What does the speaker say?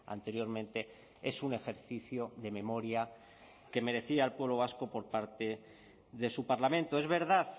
anteriormente es un ejercicio de memoria que merecía el pueblo vasco por parte de su parlamento es verdad